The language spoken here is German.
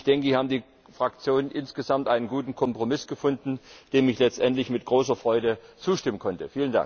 Ich denke, hier haben die Fraktionen insgesamt einen guten Kompromiss gefunden, dem ich letztendlich mit großer Freude zustimmen konnte.